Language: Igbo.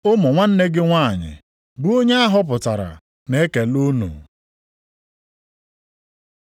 Ụmụ nwanne gị nwanyị, bụ onye a họpụtara, na-ekele unu.